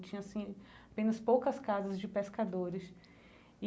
Tinha assim apenas poucas casas de pescadores e.